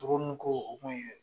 Toro mun ko u kun ye.